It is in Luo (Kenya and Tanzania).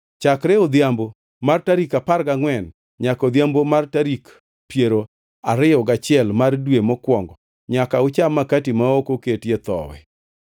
Chakre odhiambo mar tarik apar gangʼwen nyaka odhiambo mar tarik piero ariyo gachiel mar dwe mokwongo nyaka ucham makati ma ok oketie thowi.